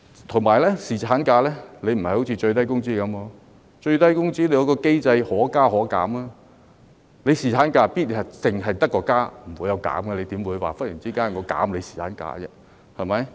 再者，侍產假有別於最低工資政策，最低工資政策下還有可加可減的機制，侍產假卻必然只會增加，不會減少，怎會忽然間減少侍產假呢？